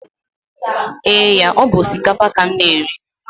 Eee ya, ọ bu osikapa ka m na-eri